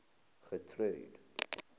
getrude